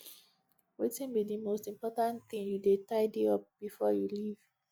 wetin be di most important thing you dey tidy up before you leave